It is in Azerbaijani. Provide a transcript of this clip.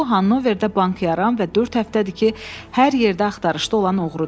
Bu Hannoverdə bank yaran və dörd həftədir ki, hər yerdə axtarışda olan oğrudur.